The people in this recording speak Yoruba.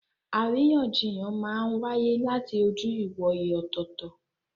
Àríyànjiyàn máa ń wáyé láti ojú ìwòye ọ̀tọ̀ọ̀tọ̀.